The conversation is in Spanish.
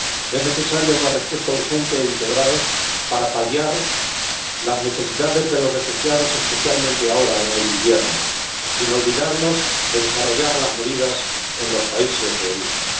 Es necesaria una respuesta urgente e integral para paliar las necesidades de los refugiados, especialmente ahora en el invierno, sin olvidarnos de desarrollar las medidas en los países de origen.